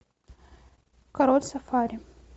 король сафари